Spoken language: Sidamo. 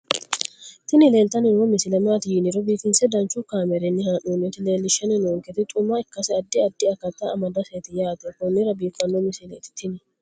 tini leeltanni noo misile maaati yiniro biifinse danchu kaamerinni haa'noonnita leellishshanni nonketi xuma ikkase addi addi akata amadaseeti yaate konnira biiffanno misileeti tini